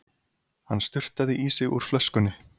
Hann sturtaði í sig úr flöskunni.